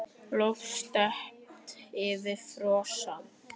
Loft steypt yfir forsal.